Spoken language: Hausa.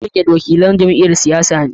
Daliget wakilan jam'iyyar siyasa ne.